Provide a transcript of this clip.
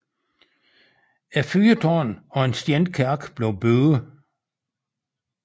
Et fyrtårn og en stenkirke blev bygget